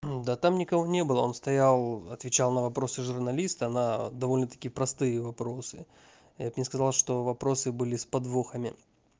да там никого не было он стоял отвечал на вопросы журналиста на довольно-таки простые вопросы я бы не сказал что вопросы были с подвохами